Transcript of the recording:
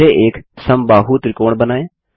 पहले एक समबाहु त्रिकोण बनाएँ